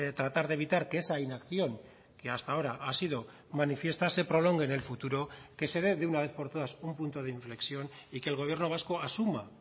tratar de evitar que esa inacción que hasta ahora ha sido manifiesta se prolongue en el futuro que se dé de una vez por todas un punto de inflexión y que el gobierno vasco asuma